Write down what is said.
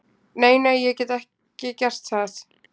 Nei, nei, ég get ekki gert það.